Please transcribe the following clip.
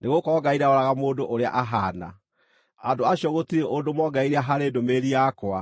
nĩgũkorwo Ngai ndaroraga mũndũ ũrĩa ahaana) andũ acio gũtirĩ ũndũ moongereire harĩ ndũmĩrĩri yakwa.